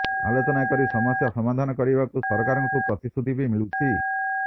ଆଲୋଚନା କରି ସମସ୍ୟା ସମାଧାନ କରିବାକୁ ସରକାରଙ୍କଠୁ ପ୍ରତିଶ୍ରୁତି ବି ମିଳୁଛି